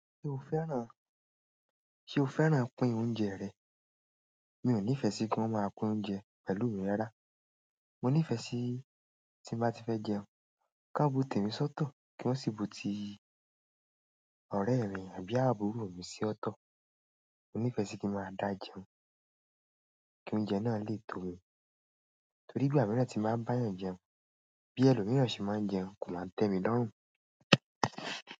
Ṣé o fẹ́ràn, ṣe o fẹ́ràn pín oúnjẹ rẹ̀? Mi ò nífẹ̀ẹ́ sí kí wọ́n máa pín oúnjẹ pẹ̀lú mi rárá. Mo nífẹ́ sí tí n bá ti fẹ́ jẹun kí wọ́n bu tèmi sọ́tọ̀ kí wọ́n sì bu ti ọ̀rẹ́ mi àbí àbúrò mi sì ọ̀tọ̀. Mo nífẹ́ sí kí n máa da jẹun kí oúnjẹ náà lè tó mi torí ìgbà míràn tí ń báa ń báa èèyàn jẹun, bí ẹlòmíràn ṣe máa ń jẹun kó máa ń tẹ́ mi lọ́rùn.